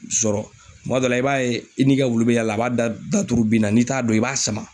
Sɔrɔ kuma dɔ la i b'a ye i n'i ka wulu bɛ yaala la a b'a da tugu binna n'i t'a dɔn i b'a sama.